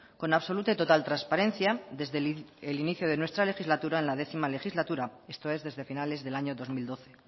con absoluta y total transparencia desde el inicio de nuestra legislatura en la décima legislatura esto es desde a finales del año dos mil doce